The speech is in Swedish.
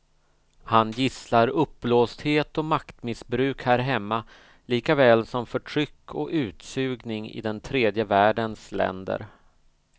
Han gisslar uppblåsthet och maktmissbruk här hemma likaväl som förtryck och utsugning i den tredje världens länder.